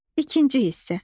İkinci hissə.